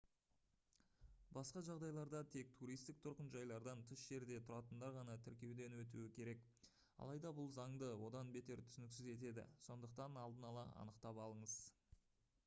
басқа жағдайларда тек туристік тұрғын жайлардан тыс жерде тұратындар ғана тіркеуден өтуі керек алайда бұл заңды одан бетер түсініксіз етеді сондықтан алдын ала анықтап алыңыз